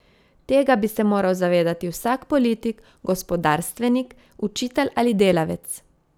Tega bi se moral zavedati vsak politik, gospodarstvenik, učitelj ali delavec.